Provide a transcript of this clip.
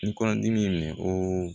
Ni kɔnɔdimi y'i minɛ kooo